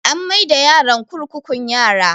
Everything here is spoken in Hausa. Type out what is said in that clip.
An mai da yaron kurkukun yara